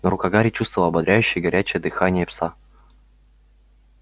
но рука гарри чувствовала ободряющее горячее дыхание пса